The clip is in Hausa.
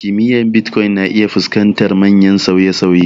Ƙimar Bitcoin na iya fuskantar manyan sauye-sauye.